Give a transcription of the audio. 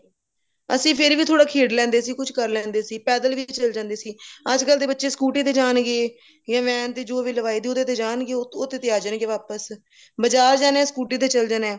ਅਸੀਂ ਫੇਰ ਵੀ ਥੋੜਾ ਖੇਡ ਲੈਂਦੇ ਸੀ ਕੁੱਛ ਕਰ ਲੇਂਦੇ ਸੀ ਪੈਦਲ ਵੀ ਚਲੇ ਜਾਂਦੇ ਸੀ ਅੱਜਕਲ ਦੇ ਬੱਚੇ scooty ਤੇ ਜਾਣਗੇ ਜਾ van ਤੇ ਜੋ ਵੀ ਲਵਾਈ ਉਹਦੇ ਤੇ ਜਾਣਗੇ ਉਹਦੇ ਤੇ ਆ ਜਾਣਗੇ ਵਾਪਿਸ ਮਜਾਜ ਹੈ ਇਹਨੇ scooty ਤੇ ਚਲੇ ਜਾਣਾ